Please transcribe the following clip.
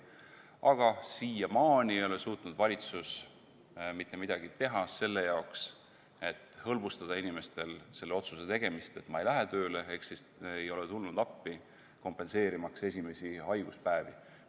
Aga siiamaani ei ole suutnud valitsus mitte midagi teha selle jaoks, et hõlbustada inimestel selle otsuse tegemist, et ma ei lähe tööle, ehk siis ei ole tulnud appi kompenseerimaks esimesi haiguspäevi.